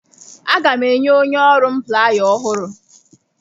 Aga m enye onye ọrụ m playa ọhụrụ.